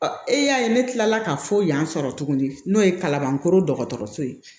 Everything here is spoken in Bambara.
Ɔ e y'a ye ne kilala ka fɔ yan sɔrɔ tuguni n'o ye kalabankɔrɔ dɔgɔtɔrɔso ye